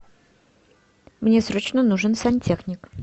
мне срочно нужен сантехник